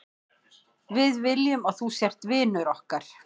Við viljum að þú sért vinur okkar.